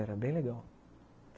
Era bem legal.